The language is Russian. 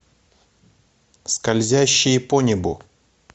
скользящие по небу